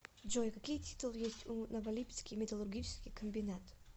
джой какие титулы есть у новолипецкий металлургический комбинат